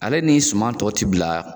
Ale ni suman tɔ ti bila